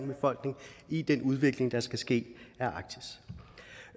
befolkning i den udvikling der skal ske